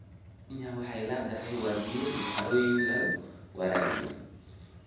Kenya waxay leedahay wabiyo iyo harooyin lagu waraabiyo.